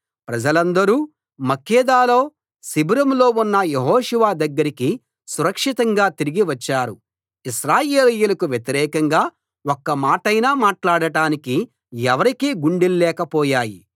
ప్రజలందరూ మక్కేదాలో శిబిరంలో ఉన్న యెహోషువ దగ్గరికి సురక్షితంగా తిరిగి వచ్చారు ఇశ్రాయేలీయులకు వ్యతిరేకంగా ఒక్క మాటైనా మాట్లాడటానికి ఎవరికీ గుండెల్లేక పోయాయి